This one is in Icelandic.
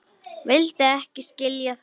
Vildi ekki skilja það.